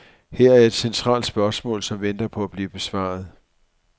Her er et centralt spørgsmål, som venter på at blive besvaret.